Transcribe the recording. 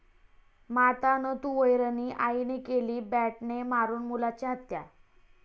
माता न तू वैरणी, आईने केली बॅटने मारुन मुलाची हत्या